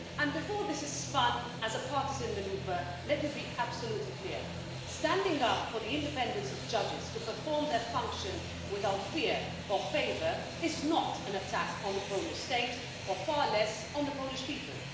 Before this is spun as a partisan manoeuvre, let me be absolutely clear standing up for the independence of judges to perform their function without fear or favour is not an attack on the Polish state, or far less on the Polish people.